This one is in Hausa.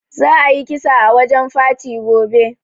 Za a yi kisa a wajen farti gobe